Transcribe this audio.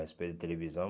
A respeito da televisão.